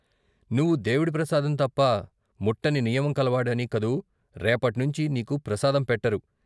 నువ్వు దేవుడి ప్రసాదం తప్ప ముట్టని నియమం కలవాడివి కదూ రేపట్నించి నీకు ప్రసాదం పెట్టరు.